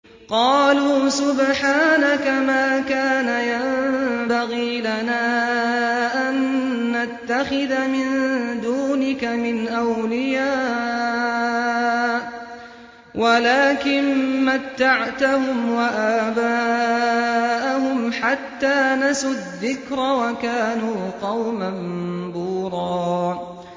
قَالُوا سُبْحَانَكَ مَا كَانَ يَنبَغِي لَنَا أَن نَّتَّخِذَ مِن دُونِكَ مِنْ أَوْلِيَاءَ وَلَٰكِن مَّتَّعْتَهُمْ وَآبَاءَهُمْ حَتَّىٰ نَسُوا الذِّكْرَ وَكَانُوا قَوْمًا بُورًا